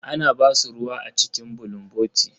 Ana ba su ruwa a cikin bulunboti.